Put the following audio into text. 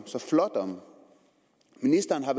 så flot om ministeren har